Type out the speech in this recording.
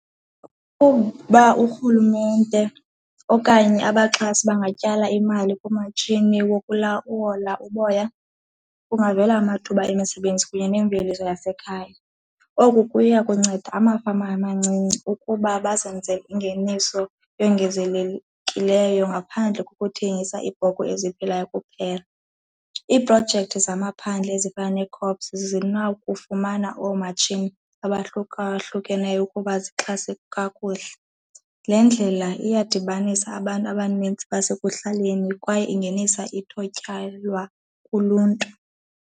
Uba urhulumente okanye abaxhasi bangatyala imali kumatshini okuwola uboya, kungavela amathuba emisebenzi kunye neemveliso yasekhaya. Oku kuya kunceda amafama amancinci ukuba bazenzele ingeniso eyongezelelekileyo ngaphandle kokuthengisa iibhokhwe eziphilayo kuphela. Iiprojekthi zamaphandle ezifana neekhops zinakufumana oomatshini abahlukahlukeneyo ukuba zixhase kakuhle. Le ndlela iyadibanisa abantu abanintsi basekuhlaleni kwaye ingenisa kuluntu.